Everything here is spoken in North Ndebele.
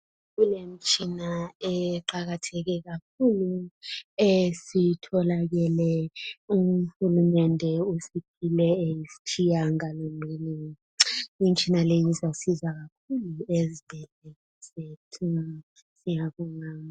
Kulemitshina eqakatheke kakhulu esitholakele uhulumende usiphile eyisitshiyangalolunye imitshina leyi izasiza kakhulu ezweni zethu ngiyabonga.